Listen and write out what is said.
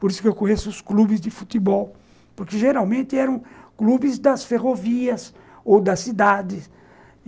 Por isso que conheço os clubes de futebol, porque geralmente eram clubes das ferrovias ou das cidades.